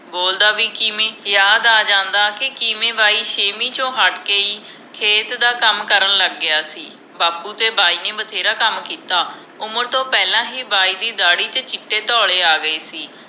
ਬੋਲਦਾ ਵੀ ਕਿਮੇ ਯਾਦ ਆ ਜਾਂਦਾ ਕਿ ਕਿਵੇਂ ਬਾਈ ਸੇਵੀਂ ਤੋਂ ਹੱਟ ਕੇ ਹੀ ਖੇਤ ਦਾ ਕੱਮ ਕਰਨ ਲੱਗ ਗਿਆ ਸੀ ਬਾਪੂ ਤੇ ਬਾਈ ਨੇ ਬਥੇਰਾ ਕੰਮ ਕੀਤਾ ਉਮਰ ਤੋਂ ਪਹਿਲਾ ਹੀ ਬਾਈ ਦੀ ਦਾੜੀ ਤੇ ਚੀਟੇ ਧੌਲੇ ਆ ਗਏ ਸੀ